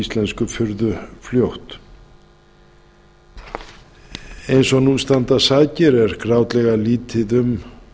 íslensku furðufljótt eins og nú standa sakir er grátlega lítið um